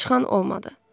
Çıxan olmadı.